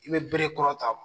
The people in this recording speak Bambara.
I bɛ bere kɔrɔta